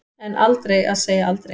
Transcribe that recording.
En aldrei að segja aldrei.